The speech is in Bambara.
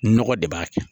Nɔgɔ de b'a kɛ